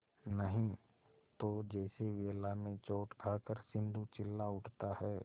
नहीं तो जैसे वेला में चोट खाकर सिंधु चिल्ला उठता है